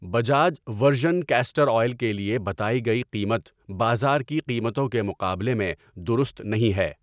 Bajaj virgin castor oil کے لیے بتائی گئی قیمت بازار کی قیمتوں کے مقابلے میں درست نہیں ہے